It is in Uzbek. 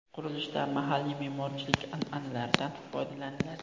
Qurilishda mahalliy me’morchilik an’analaridan foydalaniladi.